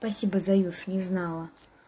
спасибо заюш не знала